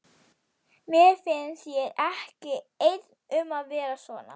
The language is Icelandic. Mér finnst ég ekki einn um að vera svona